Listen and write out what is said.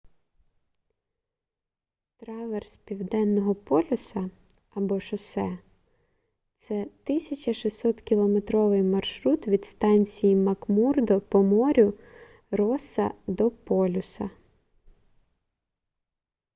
траверс південного полюса або шосе — це 1600-кілометровий маршрут від станції макмурдо по морю росса до полюса